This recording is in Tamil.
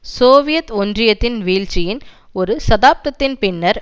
சோவியத் ஒன்றியத்தின் வீழ்ச்சியின் ஒரு தசாப்தத்தின் பின்னர்